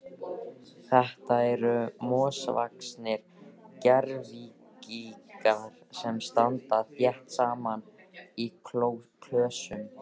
Þetta eru mosavaxnir gervigígar sem standa þétt saman í klösum.